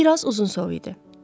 Bir az uzunsov idi.